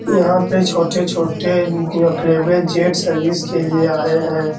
यहाँ पे छोटे-छोटे यहाँ फेवरेट जेट सर्विस के लिए आये हैं।